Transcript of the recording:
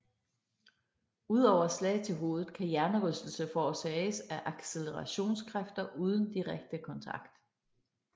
Udover slag til hovedet kan hjernerystelse forårsages af accelerationskræfter uden direkte kontakt